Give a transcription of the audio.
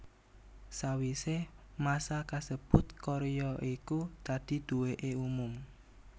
Sawisé masa kasebut karya iku dadi duweke umum